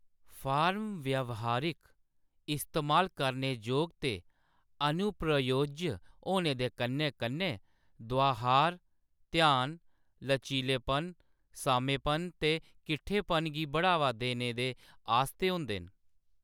Form व्यावहारिक, इस्तेमाल करने जोग ते अनुप्रयोज्य होने दे कन्नै-कन्नै द्वाहार, ध्यान, लचीलेपन, सामेपन ते किट्ठेपन गी बढ़ावा देने दे आस्तै होंदे न।